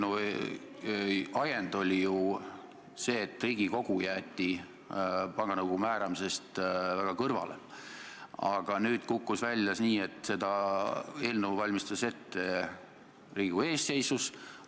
Selle eelnõu ajend oli ju see, et Riigikogu jäeti panga nõukogu määramisest kõrvale, aga nüüd kukkus välja nii, et seda eelnõu valmistas ette Riigikogu eestseisus.